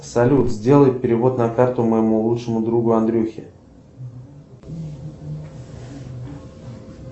салют сделай перевод на карту моему лучшему другу андрюхе